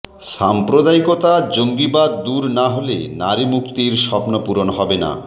সাম্প্রদায়িকতা জঙ্গিবাদ দূর না হলে নারীমুক্তির স্বপ্ন পূরণ হবেনা